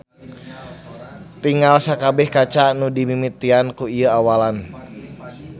Tingal sakabeh kaca nu dimimitian ku ieu awalan.